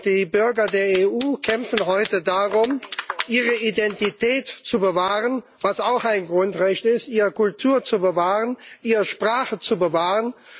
Die Bürger der EU kämpfen heute darum, ihre Identität zu bewahren sas auch ein Grundrecht ist ihre Kultur und ihre Sprache zu bewahren.